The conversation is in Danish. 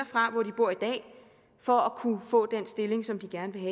fra hvor de bor i dag for at kunne få den stilling som de gerne vil